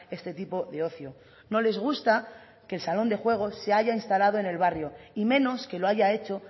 este tipo de ocio no les gusta que el salón de juegos se haya instalado en el barrio y menos que lo haya hecho